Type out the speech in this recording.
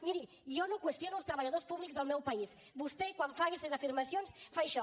miri jo no qüestiono els treballadors públics del meu país vostè quan fa aquestes afirmacions fa això